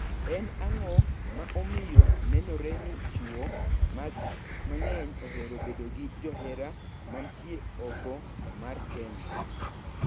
En ang`o ma omiyo nenore ni chwo mang`eny ohero bedo gi johera mantie oko mar keny.